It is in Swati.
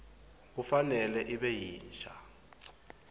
kufanele ibe yinsha